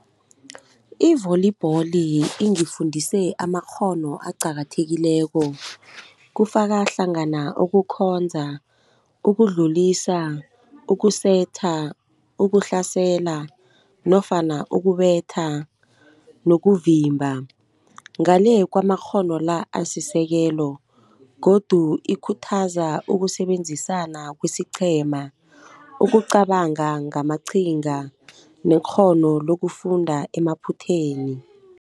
I-volleyball ingifundise amakghono aqakathekileko kufakahlangana ukukhonza, ukudlulisa, ukusetha, ukuhlasela nofana ukubetha nokuvimba. Ngale kwamakghono la asisekelo godu ikhuthaza ukusebenzisana kwesiqhema, ukucabanga ngamaqhinga nekghono lokufunda emaphutheni.